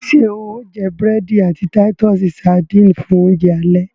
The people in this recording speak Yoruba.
ṣe o jé burẹdi àti Titus sardines fun Oúnjẹ alẹ́?